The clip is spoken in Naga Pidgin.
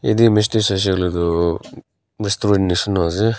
itu image teh saishey kuile tu restaurant mishina ase.